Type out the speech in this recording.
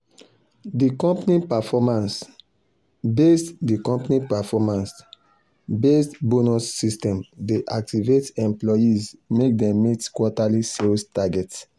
d company performance-based d company performance-based bonus system dey motivate employees make dem meet quarterly sales targets